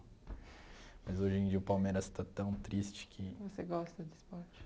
Mas hoje em dia o Palmeiras está tão triste que... Você gosta de esporte?